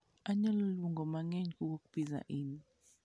Anyalo luongo mang'eny kowuok pizza inn